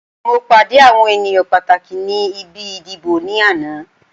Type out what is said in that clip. Mo pàdé àwọn ènìyàn pàtàkì ni ibi ìdìbò ní àná